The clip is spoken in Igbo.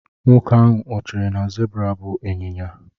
Nwoke ahụ o chere na zebra bụ ịnyịnya?